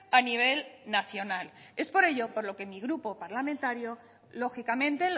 a nivel nacional es por ello por lo que mi grupo parlamentario lógicamente